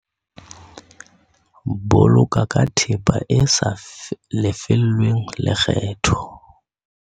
Boloka ka thepa e sa lefellweng lekgetho